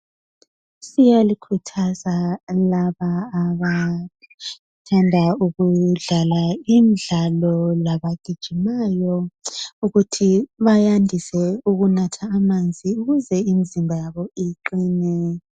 Siyalikhuthaza abantu laba abathanda ukudlala imidlalo labagijimayo ukuthi bayandise ukunatha amanzi ukuze imizimba yabo iqine.